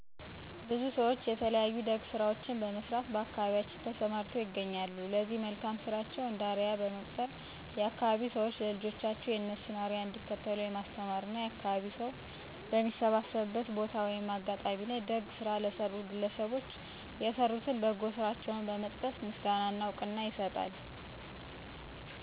ብዙ ሰዎች የተለያዩ ደግ ስራዎችን በመስራት በአካባቢያችን ተሰማርተው ይገኛሉ ለዚህ መልካም ስራቸው እንደ አርያ በመቁጠር የአካባቢዉ ሰዎች ለልጆቻቸው የእነሱን አርያ እንዲከተሉ የማስተማር እና የአካባቢው ሰው በሚሰባሰብበት ቦታ(አጋጣሚ) ላይ ደግ ስራ ለሰሩት ግለሰቦች የሰሩትን በጎ ስራቸውን በመጥቀስ ምስጋና እና እውቅና ይሰጣል።